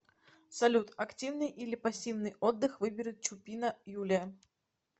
салют активный или пассивный отдых выберет чупина юлия